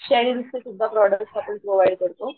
शेरेन्सचे सुद्धा प्रॉडक्ट आपण प्रोव्हाइड करतो.